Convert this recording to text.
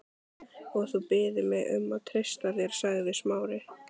Og þú biður mig um að treysta þér sagði Smári.